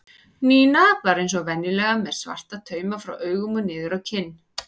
Nína var eins og venjulega með svarta tauma frá augum og niður á kinn.